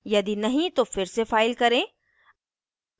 यदि नहीं तो फिर से फाइल करें